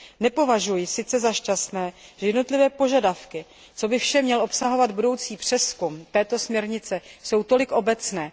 Nepovažuji za šťastné, že jednotlivé požadavky, co vše by měl obsahovat budoucí přezkum této směrnice, jsou tolik obecné.